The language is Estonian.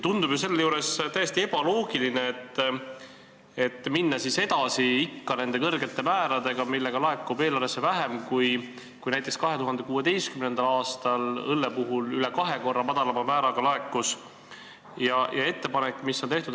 Selle juures tundub täiesti ebaloogiline minna ikka edasi nende kõrgete määradega, mille tõttu raha laekub eelarvesse vähem, kui näiteks 2016. aastal üle kahe korra madalama õlleaktsiisi määra korral laekus.